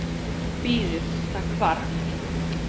Bíðiði, það hvarf.